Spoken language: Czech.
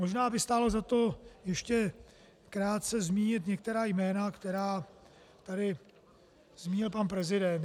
Možná by stálo za to ještě krátce zmínit některá jména, která tady zmínil pan prezident.